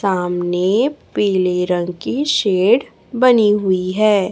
सामने पीले रंग की शेड बनी हुई है।